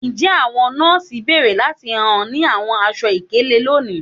Njẹ àwọn nọọsi béèrè láti hàn ní àwọn aṣọ-ìkélé lónìí?